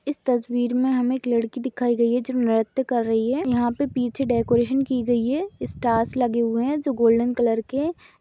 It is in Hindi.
इस तस्वीर में हमें एक लड़की दिखाई गई है जो नृत्य कर रही है यहाँ पे पीछे डेकोरेशन कि गई है स्टार्स लगे हुए है जो गोल्डन कलर के--